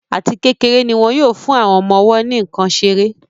Àti kékeré ní wón yóò fún àwọn ọmọ-ọwọ́ ní nkán seré.